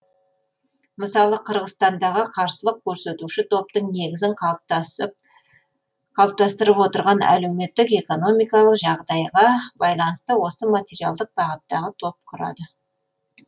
мысалы қырғызстандағы қарсылық көрсетуші топтың негізін қалыптастырып отырған әлеуметтік экономикалық жағдайға байланысты осы материалдық бағыттағы топ құрады